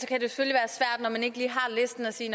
og når man ikke lige har listen at sige